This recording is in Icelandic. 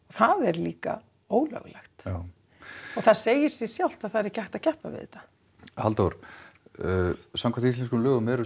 það er líka ólöglegt og það segir sig sjálft að það er ekki hægt að keppa við þetta Halldór samkvæmt íslenskum lögum eru